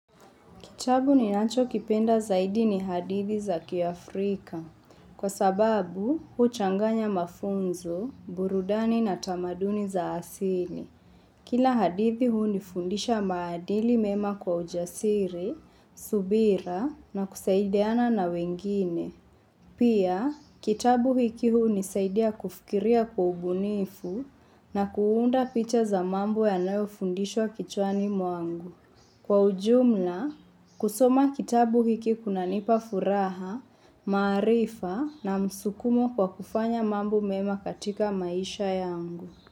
Kitabu ni nacho kipenda zaidi ni hadithi za kia Afrika, kwa sababu huchanganya mafunzo, burudani na tamaduni za asini. Kila hadithi huu nifundisha maadili mema kwa ujasiri, subira na kusaidiana na wengine. Pia, kitabu hiki huu nisaidia kufikiria kwa ubunifu na kuunda picha za mambo yanayo fundishwa kichwani mwangu. Kwa ujumla, kusoma kitabu hiki kunanipa furaha, maarifa na msukumo kwa kufanya mambo mema katika maisha yangu.